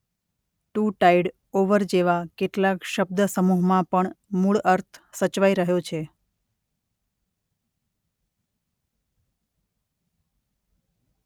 Two tide over જેવા કેટલાક શબ્દસમૂહમાં પણ મૂળ અર્થ સચવાઇ રહ્યો છે.